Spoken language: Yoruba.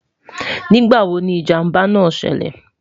nígbà wò ní ìjàmbá nà ṣẹlẹ?